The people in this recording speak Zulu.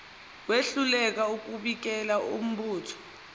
wehluleka ukubikela umbutho